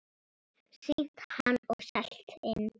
Sýnt hann og selt inn.